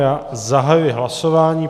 Já zahajuji hlasování.